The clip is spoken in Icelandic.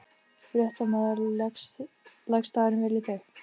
Fréttamaður: Leggst dagurinn vel í þig?